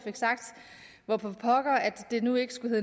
fik sagt hvorfor pokker det nu ikke skulle